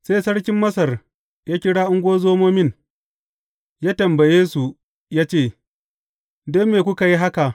Sai sarkin Masar ya kira ungozomomin, ya tambaye su ya ce, Don me kuka yi haka?